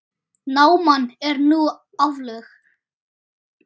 Náman er nú aflögð.